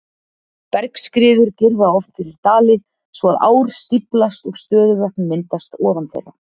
Bergskriður girða oft fyrir dali svo að ár stíflast og stöðuvötn myndast ofan þeirra.